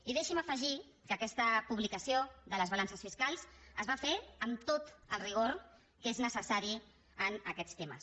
i deixi’m afegir que aquesta publicació de les balances fiscals es va fer amb tot el rigor que és necessari en aquests temes